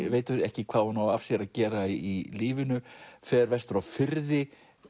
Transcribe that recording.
veit ekki hvað hún á af sér að gera í lífinu fer vestur á firði